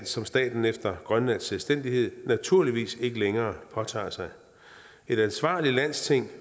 som staten efter grønlands selvstændighed naturligvis ikke længere påtager sig et ansvarligt landsting